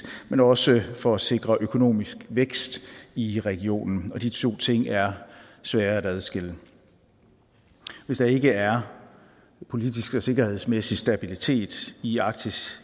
men også for at sikre økonomisk vækst i regionen og de to ting er svære at adskille hvis der ikke er politisk og sikkerhedsmæssig stabilitet i arktis